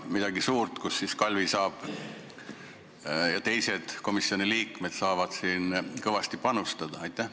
Kas midagi suurt, kus Kalvi ja teised komisjoni liikmed saavad kõvasti panustada?